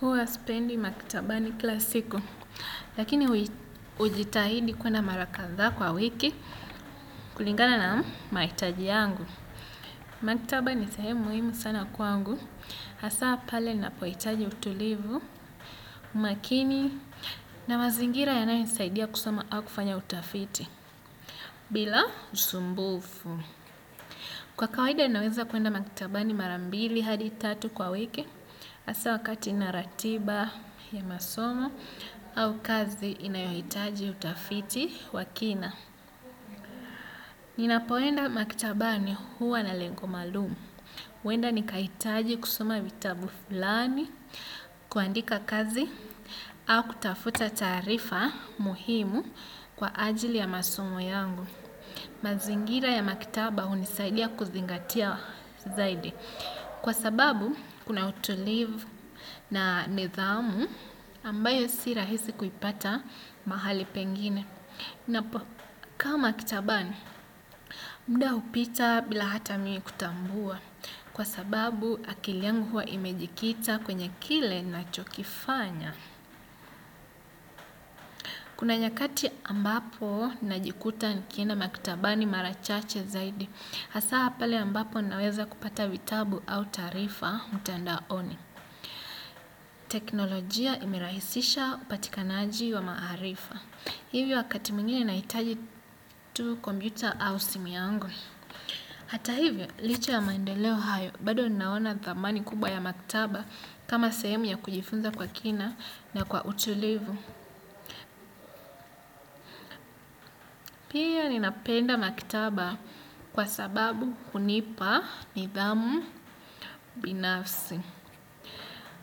Huwa sipendi maktabani kilasiku, lakini hujitahidi kwenda mara kadhaa kwa wiki kulingana na mahitaji yangu. Makitaba ni sehemu muhimu sana kwangu, hasa pale na pohitaji utulivu, makini na mazingira yanayo nisaidia kusoma au kufanya utafiti, bila usumbufu. Kwa kawaida naweza kwenda maktabani marambili hadi tatu kwa wiki asa wakati inaratiba ya masomo au kazi inayohitaji utafiti wakina. Ninapoenda maktabani huwa na lengo maalumu. Wenda nikahitaji kusoma vitabu fulani, kuandika kazi au kutafuta taarifa muhimu kwa ajili ya masomo yangu. Mazingira ya maktaba hunisaidia kuzingatia zaidi. Kwa sababu kuna utulivu na nizamu ambayo si rahisi kuipata mahali pengine. Ka makitabani, muda hupita bila hata mimi kutambua. Kwa sababu akili yangu huwa imejikita kwenye kile nachokifanya. Kuna nyakati ambapo najikuta nikienda maktabani marachache zaidi, hasa pale ambapo naweza kupata vitabu au taarifa mtandaoni. Teknolojia imirahisisha upatikanaji wa maharifa. Hivyo wakati mwingine nahitaji tu kompyuta au simu yangu. Hata hivyo, licha ya maendeleo hayo, bado naona thamani kubwa ya maktaba kama sehemu ya kujifunza kwa kina na kwa utulivu. Pia ninapenda maktaba kwa sababu hunipa nidhamu binafsi.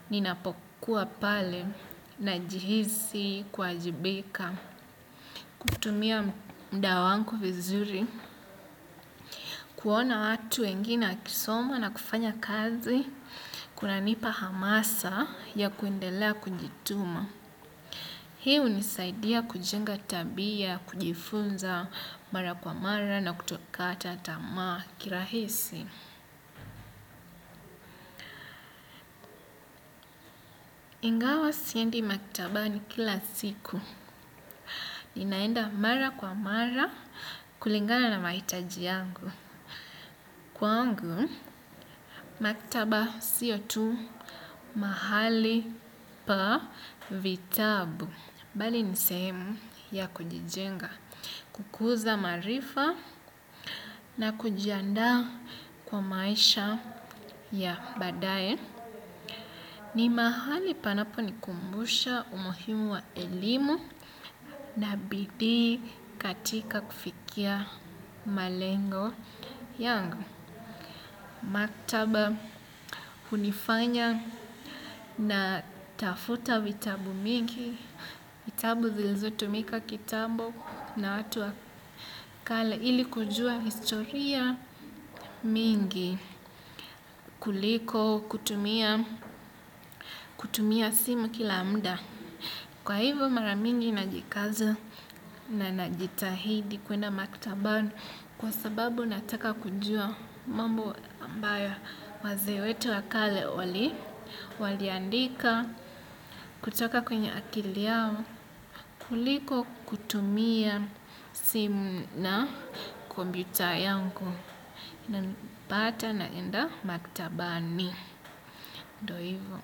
Ninapokuwa pale na jihisi kuwa jibika. Kutumia mda wangu vizuri kuona watu wengine wakisoma na kufanya kazi. Kuna nipa hamasa ya kuendela kujituma. Hii hunisaidia kujenga tabia, kujifunza, mara kwa mara na kutokata tamaa kirahisi. Ingawa siendi maktabani kila siku. Ninaenda mara kwa mara kulingana na mahitaji yangu. Kwa angu, maktaba siyo tu mahali pa vitabu. Bali nisehemu ya kujijenga. Kukuza maarifa na kujiandaa kwa maisha ya badae. Ni mahali panapo nikumbusha umuhimu wa elimu. Na bidii katika kufikia malengo yangu maktaba hunifanya na tafuta vitabu mingi vitabu zilizo tumika kitambo na watu wakale ili kujua historia mingi kuliko, kutumia simu kila muda kwa hivyo maramingi najikaza na najitahidi kwenda maktaba kwa sababu nataka kujua mambo ambayo wazee wetu wakale wali waliandika kutoka kwenye akili yao kuliko kutumia simu na kompyuta yangu inanipata na enda maktabani ndio hivyo.